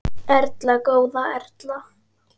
Erla góða Erla.